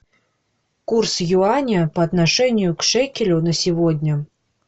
курс юаня по отношению к шекелю на сегодня